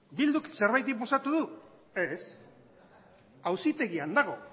bilduk zerbait inposatu du ez auzitegian dago